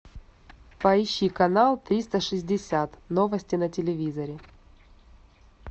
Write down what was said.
поищи канал триста шестьдесят новости на телевизоре